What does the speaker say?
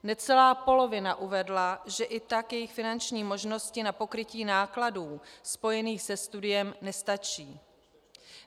Necelá polovina uvedla, že i tak jejich finanční možnosti na pokrytí nákladů spojených se studiem nestačí.